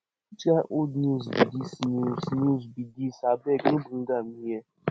which kin old news be dis news be dis abeg no bring am here